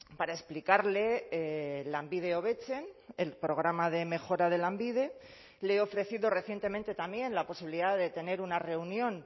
para explicarle lanbide hobetzen el programa de mejora de lanbide le he ofrecido recientemente también la posibilidad de tener una reunión